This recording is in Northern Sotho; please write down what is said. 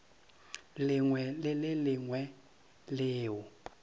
lengwe le le lengwe leo